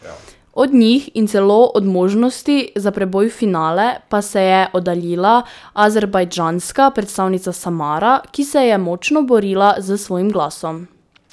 Od njih in celo od možnosti za preboj v finale pa se je oddaljila azerbajdžanska predstavnica Samara, ki se je močno borila s svojim glasom.